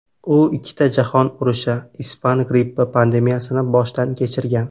U ikkita jahon urushi, ispan grippi pandemiyasini boshdan kechirgan.